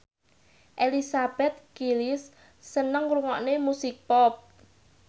Elizabeth Gillies seneng ngrungokne musik pop